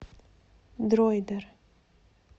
дроидер